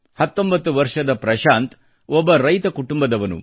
19 ವರ್ಷದ ಪ್ರಶಾಂತ್ ಒಬ್ಬ ರೈತ ಕುಟುಂಬದವನು